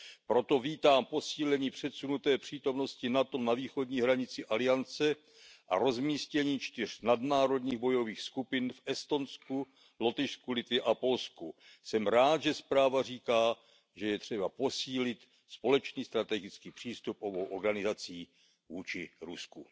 Proto vítám posílení předsunuté přítomnosti NATO na východní hranici aliance a rozmístění čtyř nadnárodních bojových skupin v Estonsku, Lotyšsku, Litvě a Polsku. Jsem rád, že zpráva říká, že je třeba posílit společný strategický přístup obou organizací vůči Rusku.